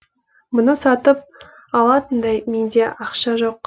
мұны сатып алатындай менде ақша жоқ